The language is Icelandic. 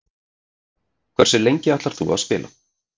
Hversu lengi ætlar þú að spila?